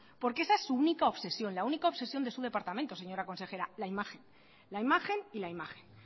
porqueesa es su única obsesión la única obsesión de su departamento señora consejera la imagen la imagen y la imagen